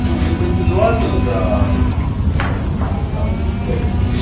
ну либо индивидуальную да лучше там так либо